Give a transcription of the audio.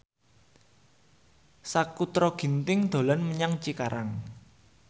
Sakutra Ginting dolan menyang Cikarang